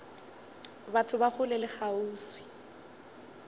batho ba kgole le kgauswi